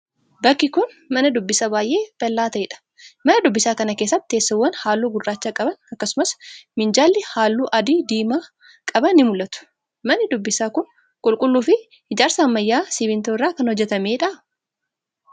Bakki kun, mana dubbisaa baay'ee bal'aa ta'ee dha. Mana dubbisaa kana keessatti teessoowwan haalluu gurraacha qaban akkasumas minjaalli haalluu adii diimaa qaban ni mul'atu. Manni dubbisaa kun, qulqulluu fi ijaarsa ammayyaa simiintoo irraa kan hojjatamee dha?